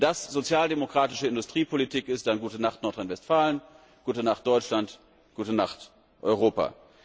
Wenn das sozialdemokratische Industriepolitik ist, dann gute Nacht Nordrhein Westfalen, gute Nacht Deutschland, gute Nacht Europa.